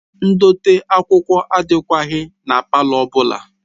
Ndote akwụkwọ adịkwaghị na palọ ọ bụla